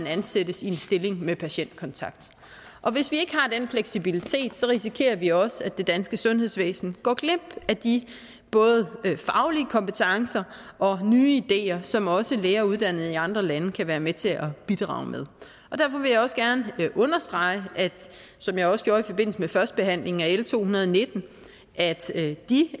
ansættes i en stilling med patientkontakt og hvis vi ikke har den fleksibilitet risikerer vi også at det danske sundhedsvæsen går glip af de både faglige kompetencer og nye ideer som også læger uddannet i andre lande kan være med til at bidrage med og derfor vil jeg også gerne understrege som jeg også gjorde i forbindelse med førstebehandlingen af l to hundrede og nitten at de